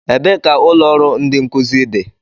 Ebee ka ụlọ ọrụ ndi nkuzi dị?